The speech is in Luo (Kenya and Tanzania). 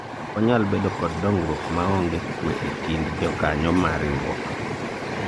ok wanyal bedo kod dongruok maonge kwe e kind jokanyo mar riwruok